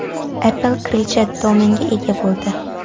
Apple kirillcha domenga ega bo‘ldi.